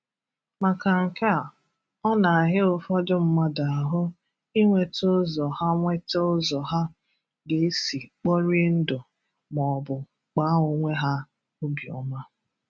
maka nke a ọ na-ahịa ụfọdụ mmadụ ahụ I nweta ụzọ ha nweta ụzọ ha ga-esi kporie ndụ ma ọ bụ kpaa onwe ha obi ọma.